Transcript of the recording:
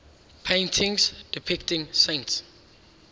paintings depicting saints